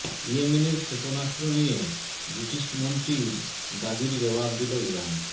ইয়েমেনের ক্ষেপণাস্ত্র নিয়ে ব্রিটিশ মন্ত্রীর দাবির জবাব দিল ইরান